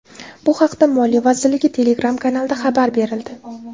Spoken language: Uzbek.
Bu haqda Moliya vazirligi Telegram-kanalida xabar berildi .